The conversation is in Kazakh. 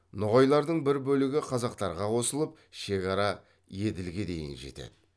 ноғайлардың бір бөлігі қазақтарға қосылып шекара еділге дейін жетеді